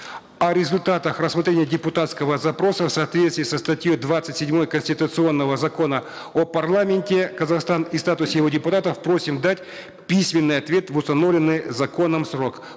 о результатах рассмотрения депутатского запроса в соответствии со статьей двадцать седьмой конституционного закона о парламенте казахстана и статусе его депутатов просим дать письменный ответ в установленный законом срок